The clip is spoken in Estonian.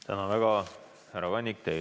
Tänan väga, härra Kannik!